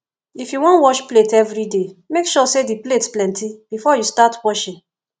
if yu wan wash plate evriday mek sure say di plates plenti bifor yu start washing